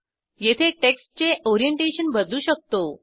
येथे टेक्स्टचे ओरिएंटेशन बदलू शकतो